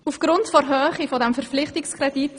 Er beträgt zurzeit rund 4 Mio. Franken.